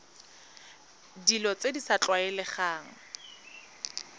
dilo tse di sa tlwaelegang